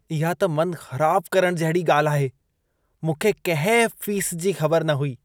इहा त मन ख़राब करणु जहिड़ी ॻाल्हि आहे। मूंखे कंहिं फ़ीस जी ख़बर न हुई।